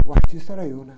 O artista era eu, né?